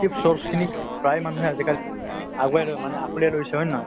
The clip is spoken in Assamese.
source খিনিক প্ৰায় মানুহে আজিকালি আগুৱাই লৈ মানে আঁকোৱালি লৈছে হয় নে নহয় ।